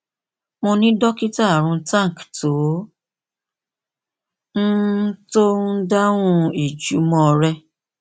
mo ni dokita arun tank tó ń tó ń dáhùn ìjùmọ rẹ